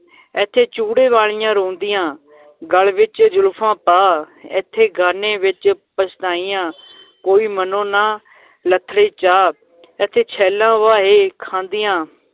ਏਥੇ ਚੂੜੇ ਵਾਲੀਆਂ ਰੋਂਦੀਆਂ ਗਲ ਵਿਚ ਜ਼ੁਲਫ਼ਾਂ ਪਾ, ਏਥੇ ਗਾਨੇ ਵਿੱਚ ਪਛਤਾਈਆਂ ਕੋਈ ਮਨੋ ਨਾ ਲੱਥੜੇ ਚਾ ਏਥੇ ਛੈਲਾਂ ਫਾਹੇ ਖਾਂਦੀਆਂ